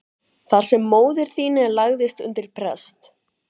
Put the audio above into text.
Þar sem móðir þín lagðist undir prest.